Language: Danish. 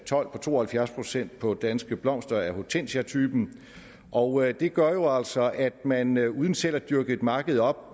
told på to og halvfjerds procent på danske blomster af hortensiatypen og det gør jo altså at man man uden selv at dyrke et marked op